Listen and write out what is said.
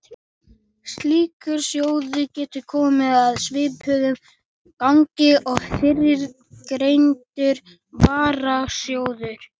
Slíkur sjóður getur komið að svipuðu gagni og fyrrgreindur varasjóður.